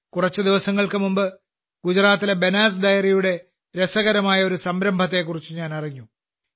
കുറച്ചു ദിവസങ്ങൾക്ക് മുമ്പ് ഗുജറാത്തിലെ ബനാസ് ഡെയറിയുടെ രസകരമായ ഒരു സംരംഭത്തെക്കുറിച്ച് ഞാൻ അറിഞ്ഞു